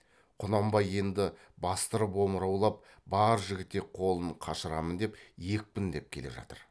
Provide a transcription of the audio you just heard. құнанбай енді бастырып омыраулап бар жігітек қолын қашырамын деп екпіндеп келе жатыр